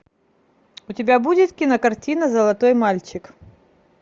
у тебя будет кинокартина золотой мальчик